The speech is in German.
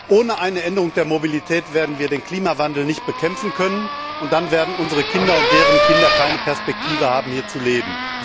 Ohne eine Änderung der Mobilität werden wir den Klimawandel nicht bekämpfen können, und dann werden unsere Kinder und deren Kinder keine Perspektive haben, hier zu leben.